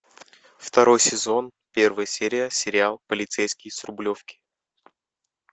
второй сезон первая серия сериал полицейский с рублевки